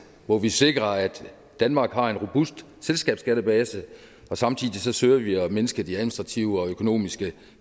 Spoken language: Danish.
hvor vi sikrer at danmark har en robust selskabsskattebase og samtidig søger vi at mindske de administrative og økonomiske